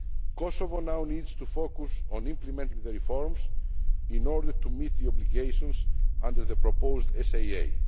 process. Kosovo now needs to focus on implementing the reforms in order to meet the obligations under the proposed